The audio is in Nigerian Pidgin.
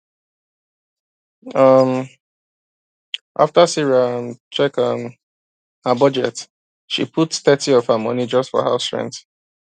um after sarah um check um her budget she put thirty of her money just for house rent